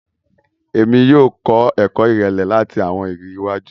Èmí yóò kọ ẹkọ irẹlẹ lati awọn ìrírí iwájú.